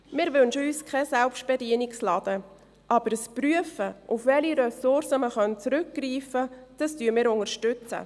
Wir wünschen uns keinen Selbstbedienungsladen, aber wir unterstützen ein Prüfen, auf welche Ressourcen man zurückgreifen kann.